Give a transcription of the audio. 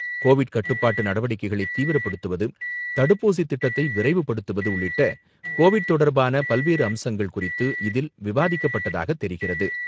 Covid கட்டுப்பாட்டு நடவடிக்கைளை தீவிரப்படுத்துவது, தடுப்பூசி திட்டத்தை விரைவுபடுத்துவது, உள்ளிட்ட கோவிட் தொடர்பான பல்வேறு அம்சங்கள் குறித்து இதில் விவாதிக்கப்பட்டதாக தெரிகிறது.